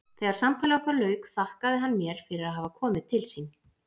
Þegar samtali okkar lauk þakkaði hann mér fyrir að hafa komið til sín.